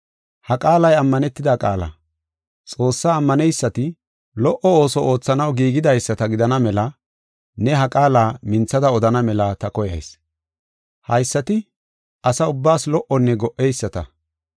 Ha qaalay ammanetida qaala. Xoossaa ammaneysati lo77o ooso oothanaw giigidaysata gidana mela ne ha qaala minthada odana mela ta koyayis. Haysati ase ubbaas lo77onne go77eyisata.